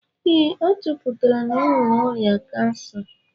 Ee, a chọpụtara na o nwere ọrịa kansa